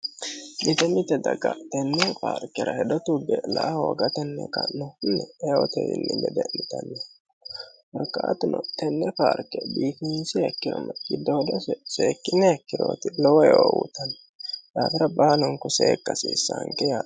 Mitee mite daga tenne paarkira hedo tugge la"a hoogatenni kannohunni eote wiinni gede'nitanni no korikaatuno tenne paarke biifinsiha ikkironna seekkuha ikkiroot giddoodo seekkine heekkirooti lowo yoowutanni daafira baalunku seekkasiissaanke yae